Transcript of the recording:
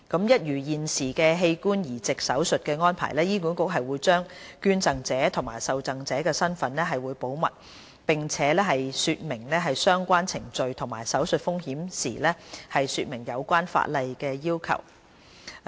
一如現時器官移植手術的安排，醫管局會將捐贈者及受贈者的身份保密，並且在說明相關程序及手術風險時，解釋有關的法例要求。